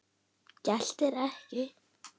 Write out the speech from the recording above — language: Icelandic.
Geltir ekki.